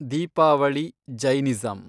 Deepavali , Jainism